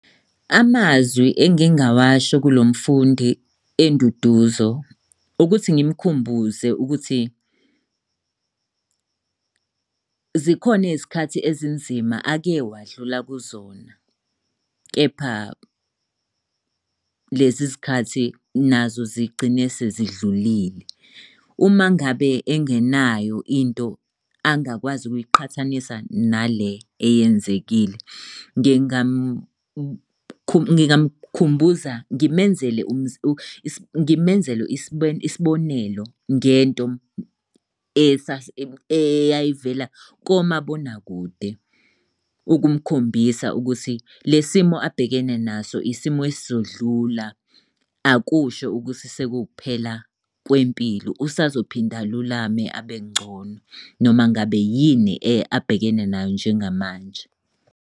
Amazwi engingawasho kulo mfundi enduduzo, ukuthi ngimkhumbuze ukuthi zikhona izikhathi ezinzima ake wadlula kuzona, kepha lezi zikhathi nazo zigcine sezidlulile. Uma ngabe engenayo into angakwazi ukuyiqhathanisa nale eyenzekile, ngingamukhumbuza ngimenzele ngimenzele isibonelo ngento eyayivela komabonakude, ukumkhombisa ukuthi le simo ababhekene naso isimo esizodlula. Akusho ukuthi sekuwukuphela kwempilo usazophinde alulame abengcono noma ngabe yini abhekene nayo njengamanje.